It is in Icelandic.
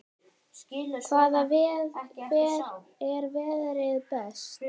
Hver verður best?